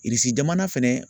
jamana fɛnɛ